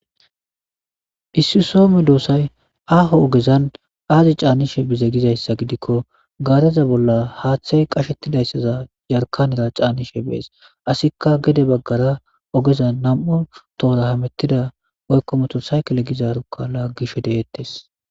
Issi soho medoosayi aho ogezani azi chanishshe bize gikko gareza bolani haththte qashetizayisa jarikanera canidi beeesi asikka gede bagara namu toho hemetida ogera woyikko motori sayikile gizaro lagishe deeteesi